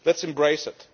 Let us embrace it.